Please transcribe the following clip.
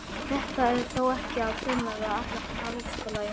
Þetta er þó ekki að finna við alla háskóla í heiminum.